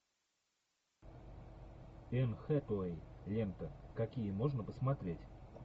энн хэтэуэй лента какие можно посмотреть